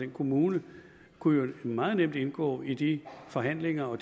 kommune kunne meget nemt indgå i de forhandlinger og